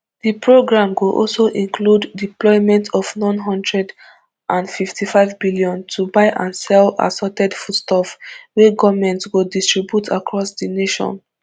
di programme go also include deployment of n one hundred and fifty-five billion to buy and sell assorted foodstuff wey goment go distribute across di nation